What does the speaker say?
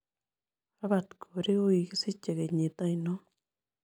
Robert korir ko kikisiche kenyit ainon